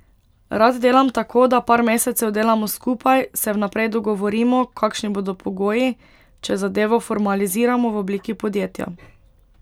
Rad delam tako, da par mesecev delamo skupaj, se vnaprej dogovorimo, kakšni bodo pogoji, če zadevo formaliziramo v obliki podjetja.